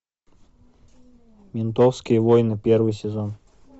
ментовские войны первый сезон